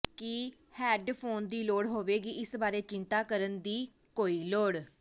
ਕੀ headphone ਦੀ ਲੋੜ ਹੋਵੇਗੀ ਇਸ ਬਾਰੇ ਚਿੰਤਾ ਕਰਨ ਦੀ ਕੋਈ ਲੋੜ